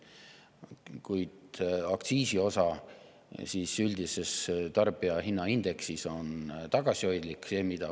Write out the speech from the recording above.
Kuid aktsiisi üldisele tarbijahinnaindeksile on tagasihoidlik.